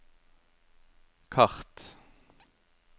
kart